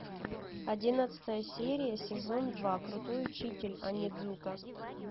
одиннадцатая серия сезон два крутой учитель онидзука